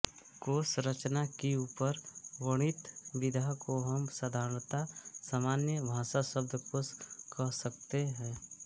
कोशरचना की ऊपर वर्णित विधा को हम साधारणतः सामान्य भाषा शब्दकोश कह सकते हैं